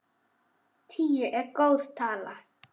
Tíu er góð tala.